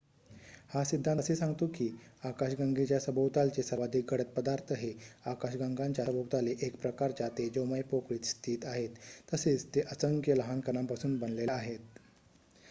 हा सिद्धांत असे सांगतो की आकाशगंगेच्या सभोवतालचे सर्वाधिक गडद पदार्थ हे आकाशगंगाच्या सभोवताली एकप्रकारच्या तेजोमय पोकळीत स्थित आहेत तसेच ते असंख्य लहान कणांपासून बनलेले आहेत